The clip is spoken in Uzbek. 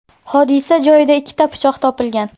Hodisa joyida ikkita pichoq topilgan.